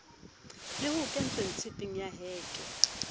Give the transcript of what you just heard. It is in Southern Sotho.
le hoketsweng tshepeng ya heke